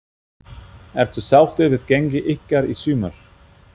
Ertu sáttur við gengi ykkar í sumar?